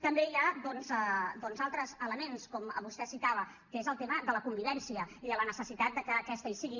també hi ha doncs altres elements com vostè citava que és el tema de la convivència i de la necessitat de que aquesta hi sigui